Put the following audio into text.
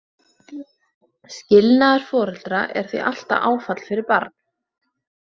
Skilnaður foreldra er því alltaf áfall fyrir barn.